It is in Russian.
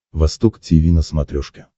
восток тиви на смотрешке